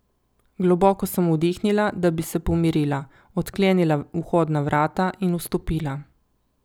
Globoko sem vdihnila, da bi se pomirila, odklenila vhodna vrata in vstopila.